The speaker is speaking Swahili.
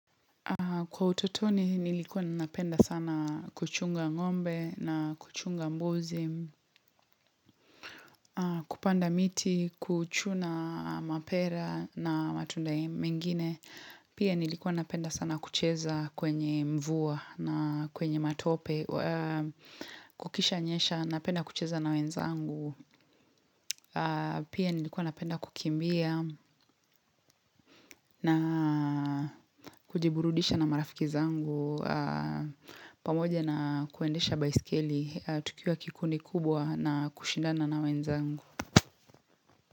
Kwa utotoni nilikuwa napenda sana kuchunga ngombe na kuchunga mbozi kupanda miti, kuchuna mapera na matunda mingine, pia nilikuwa napenda sana kucheza kwenye mvua na kwenye matope, kukisha nyesha, napenda kucheza na wenzangu, pia nilikuwa napenda kukimbia na kujiburudisha na marafiki zangu. Pamoja na kuendesha baiskeli tukiwa kikundi kubwa na kushindana na wenzangu.